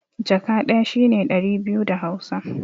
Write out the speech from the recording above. Jaka ɗaya shi ne ɗari biyu da Hausa.